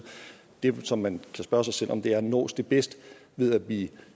det som man kan spørge sig selv om er nås det bedst ved at vi